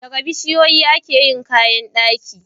Daga bishiyoyi ake yin kayan daki.